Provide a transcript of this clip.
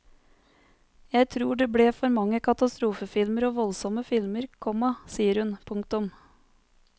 Jeg tror det ble for mange katastrofefilmer og voldsomme filmer, komma sier hun. punktum